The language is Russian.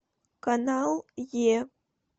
канал е